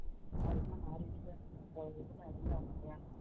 அர்த்தநாரீஸ்வர் இதுல இருந்தவங்க இல்லையா